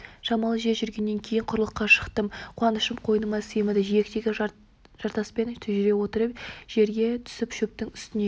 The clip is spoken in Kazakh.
шамалы жер жүргеннен кейін құрлыққа шықтым қуанышым қойныма сыймады жиектегі жартаспен жүре отырып жерге түсіп шөптің үстіне